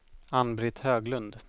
Ann-Britt Höglund